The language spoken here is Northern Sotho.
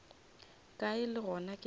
kae le gona ke tla